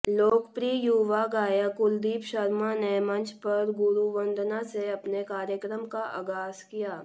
लोकप्रिय युवा गायक कुलदीप शर्मा ने मंच पर गुरुवंदना से अपने कार्यक्रम का आगाज किया